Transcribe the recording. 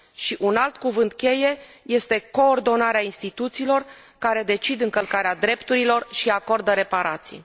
Și un alt cuvânt cheie este coordonarea instituțiilor care decid încălcarea drepturilor și acordă reparații.